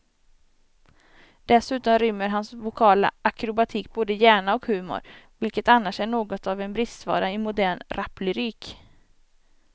Dessutom rymmer hans vokala akrobatik både hjärna och humor, vilket annars är något av en bristvara i modern raplyrik.